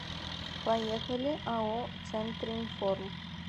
поехали ао центринформ